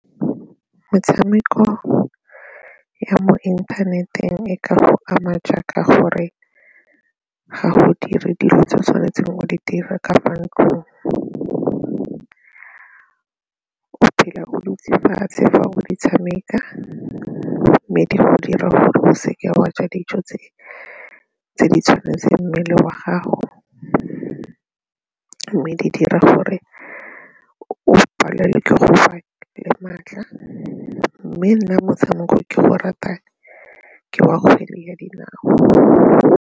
Metshameko ya mo inthaneteng e ka go ama jaaka gore ga go dire dilo tse o tshwanetseng o di dire ka fa ntlong, o phela o dutse fatshe fa o di tshameka mme di go dira gore o seke wa ja dijo tse di tshwanetseng mmele wa gago mme di dira gore o palelwe ke go fa le maatla mme nna motshameko o ke o ratang ke wa kgwele ya dinao.